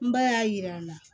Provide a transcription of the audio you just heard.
N ba y'a yir'a la